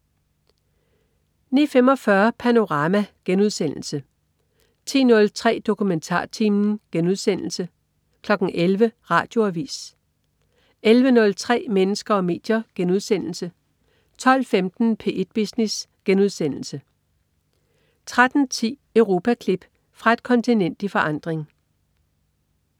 09.45 Panorama* 10.03 DokumentarTimen* 11.00 Radioavis 11.03 Mennesker og medier* 12.15 P1 Business* 13.10 Europaklip. Fra et kontinent i forandring